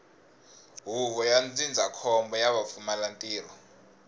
huvo ya ndzindzakhombo ra vupfumalantirho